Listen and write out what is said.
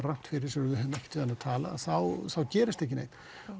rangt fyrir sér og við höfum ekkert við hann að tala þá gerist ekki neitt